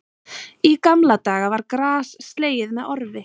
Í gamla daga var gras slegið með orfi